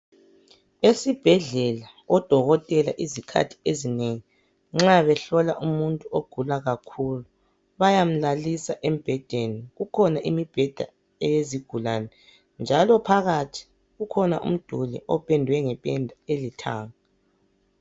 Esibhedlela odokotela ezikhathini ezinengi nxa behlola umuntu ogula kakhulu bayamlalisa embhedeni. Kukhona imibheda eyezigulane njalo phakathi kukhona umduli opendwe ngependa elithanga.